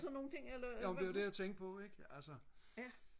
jo det var det jeg tænkte på ikke altså